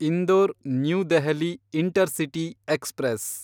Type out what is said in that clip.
Indore– new Delhi intercity express